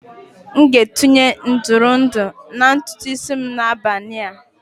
M ga-etinye ihe ntụrụndụ na ntutu isi m n'abalị a